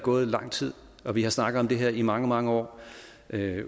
gået lang tid og vi har snakket om det her i mange mange år